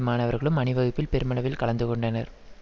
மாணவர்களும் அணிவகுப்பில் பெருமளவில் கலந்து கொண்டனர்